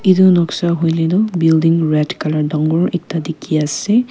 etu noksa hoi le tu building red colour dagor ekta dikhi ase.